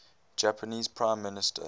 japanese prime minister